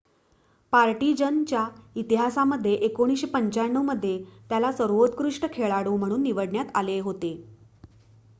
partisan च्या इतिहासामध्ये 1995 मध्ये त्याला सर्वोत्कृष्ट खेळाडू म्हणून निवडण्यात आले होते